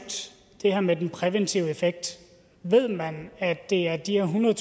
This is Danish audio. det her med den præventive effekt ved man at det er de her